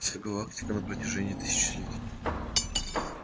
вся галактика на протяжении тысячелетий